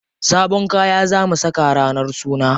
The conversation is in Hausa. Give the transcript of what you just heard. Sabon kaya za mu saka ranar suna.